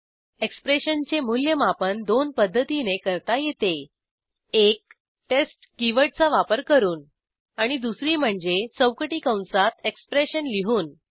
एक्सप्रेशनचे मूल्यमापन दोन पध्दतीने करता येते एक टेस्ट कीवर्डचा वापर करून आणि दुसरी म्हणजे चौकटी कंसात एक्सप्रेशन लिहून